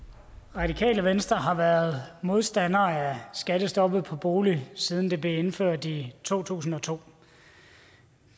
radikale venstre har været modstander af skattestoppet på boliger siden det blev indført i to tusind og to